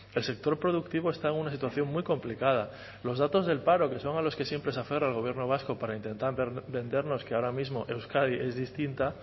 el sector productivo está en una situación muy complicada los datos del paro que son a los que siempre se aferra el gobierno vasco para intentar vendernos que ahora mismo euskadi es distinta